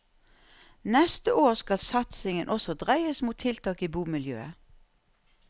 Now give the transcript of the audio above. Neste år skal satsingen også dreies mot tiltak i bomiljøet.